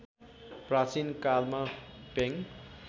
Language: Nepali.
प्राचीन कालमा पेङ